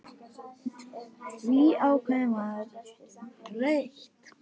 Því ákváðum við að breyta.